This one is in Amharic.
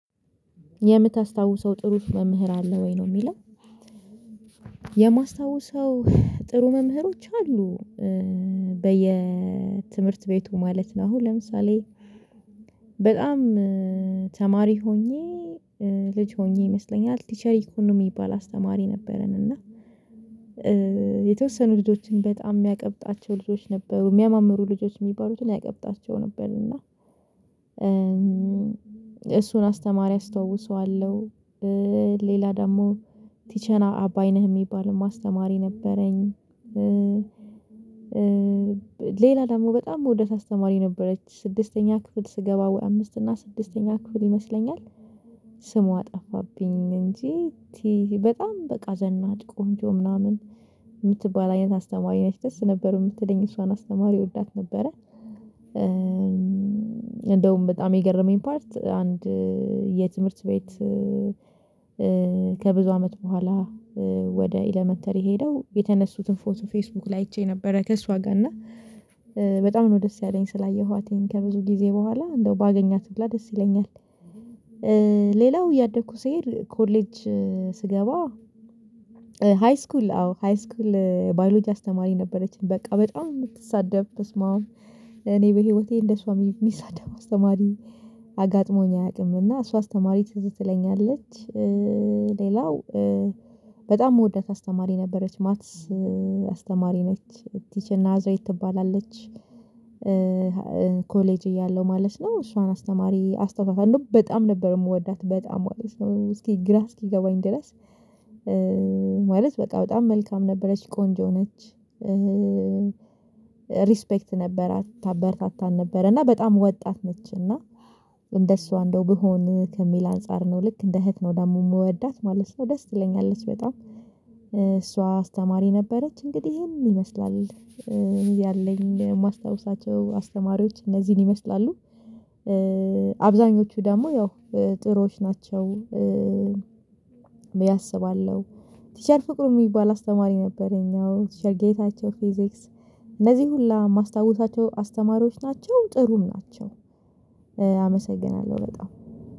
የምታስታውሰው ጥሩ መምህር አለ ወይ ነው የሚለው? የማስታውሰው ጥሩ መምህሮች አሉ በየ ትምህርት ቤቱ ማለት ነው። አሁን ለምሳሌ በጣም ተማሪ ሆኜ ልጅ ሆኜ ይመስለኛል ቲቸር እኮን የሚባል አስተማሪ ነበረን። እና የተወሰኑ ልጆችን በጣም የሚያቀብጣቸው ልጆች ነበሩ የሚያማምሩ ልጆች የሚባሉትን ያቀብጣቸውም ነበር። እና እሱን አስተማሪ አስታውሰዋለሁ። ሌላ ደግሞ ቲቸር አባይነህ የሚባል አስተማሪ ነበረኝ። ሌላ ደግሞ በጣም ምወዳት አስተማሪ ነበረች ስድስተኛ ክፍል ስገባ ወይ አምስት እና ስድስተኛ ክፍል ይመስለኛል ስሟ ጠፋብኝ እንጂ በጣም በቃ ዘናጭ ቆንጆ ምናምን የምትባል አይነት አስተማሪ ነች ደስ ነበር የምትለኝ እሷን አስተማሪ እወዳት ነበረ። እንደውም በጣም የገረመኝ ፓርት አንድ የትምህርት ቤት ከብዙ አመት በኋላ ወደ ኢለመንተሪ ሄደው የተነሱትን ፎቶ ፌስቡክ ላይ አይቼ ነበር ከእሷ ጋር እና በጣም ነው ደስ ያለኝ ስላየኋትኝ ከብዙ ጊዜ በኋላ እንደው ባገኛት ሁላ እንደው ደስ ይለኛል። ሌላው እያደኩ ስሄድ ኮሌጅ ስገባ ሃይስኩል አዎ ሃይስኩል ባዮሎጂ አስተማሪ ነበረችኝ በቃ በጣም የምትሳደብ በስማም እኔ በህይወቴ እንደሷ ሚሳደብ አስተማሪ አጋጥሞኝ አያውቅም እና እሷ አስተማሪ ትዝ ትለኛለች። ሌላው በጣም የምወዳት አስተማሪ ነበረች ማትስ አስተማሪ ነች ቲቸር ናዝሬት ትባላለች። ኮሌጅ እያለው ማለት ነው እሷን አስተማሪ አስታውሳታለው በጣም ነበር የምወዳት በጣም ማለት ነው እስኪ ግራ እስኪገባኝ ድረስ። በቃ በጣም መልካም ነበረች ቆንጆ ነች። ሪስፔክት ነበራት ታበረታታን ነበር እና በጣም ወጣት ነች እና እንደሷ እንደው ብሆን ከሚል አንፃር ነው ልክ እንደ እህት ነው ደግሞ የምወዳት ማለት ነው ደስ ትለኛለች በጣም። እሷ አስተማሪ ነበረች እንግዲህ ይሄን ይመስላል እዚህ ያለኝ የማስታውሳቸው አስተማሪዎች እነዚህን ይመስላሉ። አብዛኞቹ ደግሞ ያው ጥሩዎች ናቸው። ብዬ አስባለሁ። ቲቸር ፍቅሩ የሚባል አስተማሪ ነበረኝ ቲቸር ጌታቸው ፊዚክስ እነዚህ ሁላ ማስታውሳቸው አስተማሪዎች ናቸው ጥሩም ናቸው። አመሰግናለሁ በጣም